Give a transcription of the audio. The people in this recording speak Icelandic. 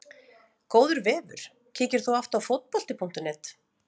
Góður vefur Kíkir þú oft á Fótbolti.net?